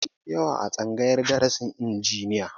Maza sun fi yawa a tsangayar darasin injiniya